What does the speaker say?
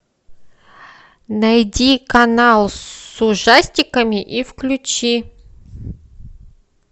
найди канал с ужастиками и включи